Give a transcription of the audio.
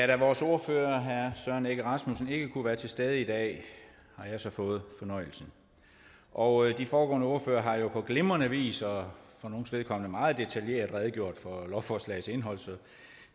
da vores ordfører herre søren egge rasmussen ikke kunne være til stede i dag har jeg så fået fornøjelsen og de foregående ordførere har jo på glimrende vis og for nogles vedkommende meget detaljeret redegjort for lovforslagets indhold så